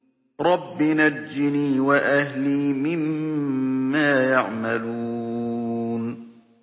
رَبِّ نَجِّنِي وَأَهْلِي مِمَّا يَعْمَلُونَ